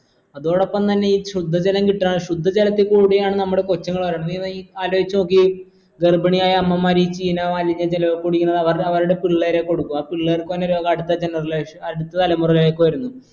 അതോടൊപ്പം തന്നെ ഈ ശുദ്ധജലം കിട്ട ശുദ്ധ ജലത്തി കൂടിയാണ് നമ്മുടെ കൊച്ചുങ്ങൾ വരണെ നീ ഒന്നീ ആലോചിച്ചോക്യെ ഗർഭിണിയായ അമ്മമാര് ഈ ചീന മാലിന്യ ജലോക്കെ കുടിക്കുന്ന അവർ അവർടെ പിള്ളേരെ കൊടുക്കും ആ പിള്ളേർക്ക് വരണ രോഗം അടുത്ത generation ൽ അടുത്ത തലമുറയിലേക്ക് വരുന്നു